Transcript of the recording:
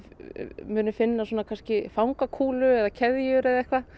muni finna svona kannski eða keðjur eða eitthvað